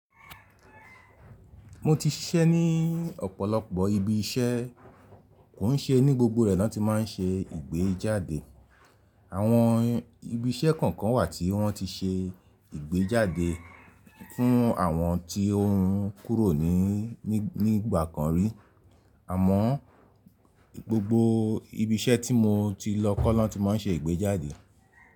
Mo ti ṣiṣẹ́ ní ọ̀pọ̀lọpọ̀ ibi iṣẹ́, kò ún ṣe ní gbogbo rẹ̀ ló ti máa ń ṣe ìgbéjáde. Àwọn ibi iṣẹ́ kọ̀ọ̀kan wà tí wọ́n ti ṣe ìgbéjáde fún àwọn tí ó ń kúrò ní ìgbà kan rí, àmọ́ gbogbo ibi iṣẹ́ tí mo ti lọ kọ́ lọ́n ti má ń ṣe ìgbéjáde.